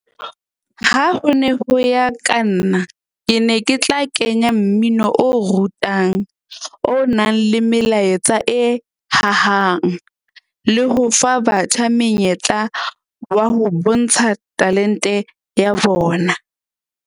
Ha ho ne ho ya ka nna. Ke ne ke tla kenya mmino o rutang, o nang le melaetsa e hahang le ho fa batjha menyetla wa ho bontsha talent-e ya bona.